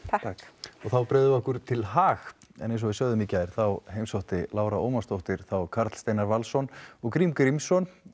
þakkir og þá bregðum við okkur til Haag en eins og við sögðum frá í gær þá heimsótti Lára Ómarsdóttir þá Karl Steinar Valsson og Grím Grímsson